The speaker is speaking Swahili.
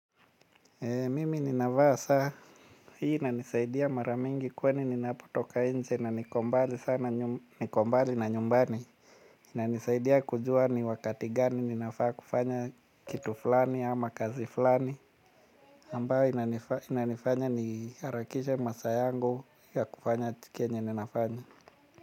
Mimi ninavaa saa hii inanisaidia maramingi kwani ninapo toka inje na niko mbali na nyumbani. Inanisaidia kujua ni wakati gani ninafaa kufanya kitu fulani ama kazi fulani ambayo inanifanya niharakishe masaa yangu ya kufanya kenye ninafanya.